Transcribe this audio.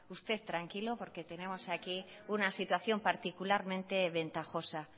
usted tranquilo porque tenemos aquí una situación particularmente ventajosa